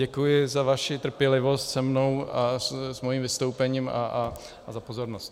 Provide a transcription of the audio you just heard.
Děkuji za vaši trpělivost se mnou a s mým vystoupením a za pozornost.